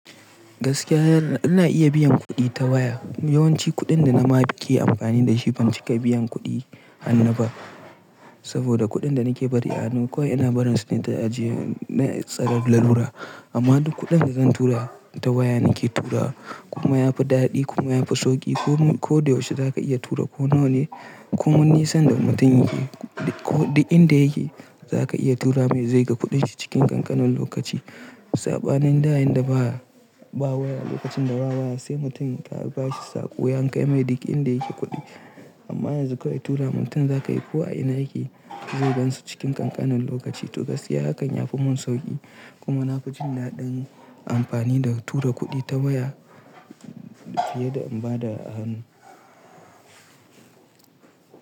Gaskiya yana ina iya biyan kuɗi ta waya. Yawanci kuɗin da na ma ke amfani da shi ban cika biyan kuɗi hannu ba. Saboda kuɗin da nake bari a hanu kawai ina barin su ne ta ajiye na tsaren lalura. Amma duk kuɗin da zan tura ta waya nake turawa kuma yafi daɗi kuma yafi sauƙi. Ko da yaushe zaka iya tura ko nawa ne, ko min nisan da mutum yake, duk inda yake zaka iya tura mai zai ga kuɗin shi cikin ƙanƙanin lokaci. Saɓanin da yayinda ba waya lokacin da ba waya sai mutum ka bashi saƙo ya kai mai duk inda yake kuɗi. Amma yanzu kawai tura mutum zaka yi ko a ina yake zai gansu cikin ƙanƙanin lokaci. To gaskiya hakan yafi mun sauƙi kuma na fi jin daɗin amfani da tura kuɗi ta waya fiye da in ba da hannu.